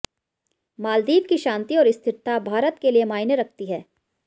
मालदीव की शांति और स्थिरता भारत के लिए मायने रखती है